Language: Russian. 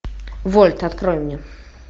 вольт открой мне